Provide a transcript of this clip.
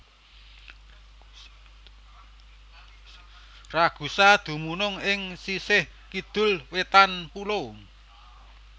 Ragusa dumunung ing sisih kidul wétan pulo